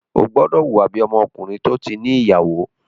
O gbódò hùwa bí Ọkùnrin tí o tí ní ìyàwó!